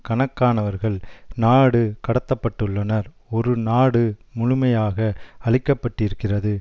கணக்கானவர்கள் நாடு கடத்தப்பட்டுள்ளனர் ஒரு நாடு முழுமையாக அழிக்கப்பட்டிருக்கிறது